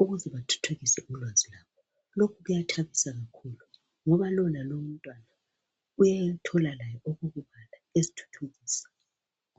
ukuze bathuthukise ulwazi lwabo. Lokhu kuyathabisa kakhulu ngoba lo lalo umntwana uyayithola layo eyokubala ezithuthukisa.